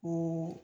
Ko